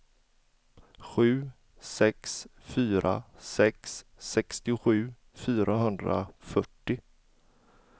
sju sex fyra sex sextiosju fyrahundrafyrtio